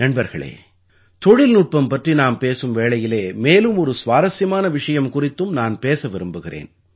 நண்பர்களே தொழில்நுட்பம் பற்றி நாம் பேசும் வேளையிலே மேலும் ஒரு சுவாரசியமான விஷயம் குறித்தும் நான் பேச விரும்புகிறேன்